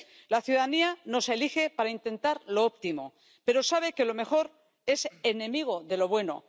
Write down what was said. La ciudadanía nos elige para intentar lo óptimo, pero sabe que lo mejor es enemigo de lo bueno.